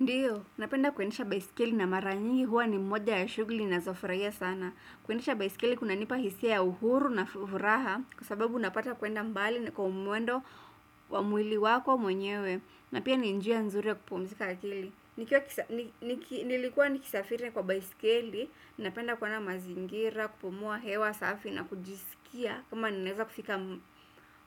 Ndio napenda kuendesha baiskeli na mara nyingi huwa ni moja ya shughuli ninazo furahia sana kuendesha baisikeli kuna nipa hisia ya uhuru na furaha kwa sababu napata kwenda mbali na kwa mwendo wa mwili wako mwenyewe na pia ni njia nzuri ya kupumzika akili. Nilikuwa nikisafiri kwa baisikeli, napenda kuona mazingira, kupumua hewa, safi na kujisikia kama ninaweza kufika